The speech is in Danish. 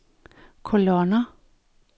kolonner